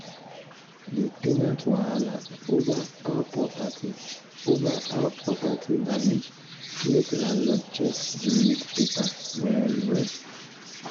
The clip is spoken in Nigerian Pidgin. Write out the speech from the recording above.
the ten ant wahala over how property over how property damage make landlord check the lease paper well well.